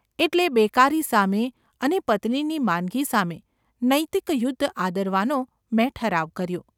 એટલે બેકારી સામે અને પત્નીની માંદગી સામે નૈતિક યુદ્ધ આદરવાનો મેં ઠરાવ કર્યો.